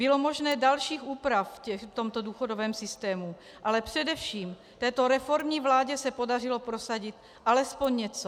Byly možné další úpravy v tomto důchodovém systému, ale především této reformní vládě se podařilo prosadit alespoň něco.